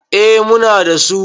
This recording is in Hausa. eh Muna da su